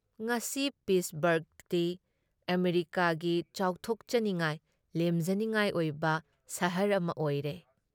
ꯉꯁꯤ ꯄꯤꯠꯁꯕꯔꯒꯇꯤ ꯑꯃꯦꯔꯤꯀꯥꯒꯤ ꯆꯥꯎꯊꯣꯛꯆꯅꯤꯡꯉꯥꯏ, ꯂꯦꯝꯖꯅꯤꯡꯉꯥꯏ ꯑꯣꯏꯕ ꯁꯍꯔ ꯑꯃ ꯑꯣꯏꯔꯦ ꯫